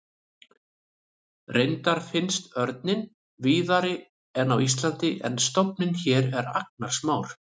Reyndar finnst örninn víðari en á Íslandi en stofninn hér er agnarsmár.